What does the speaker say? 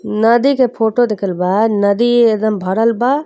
नदी के फोटो दिखल बा। नदी एकदम भरल बा।